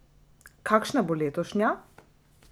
Kakšna bo letošnja?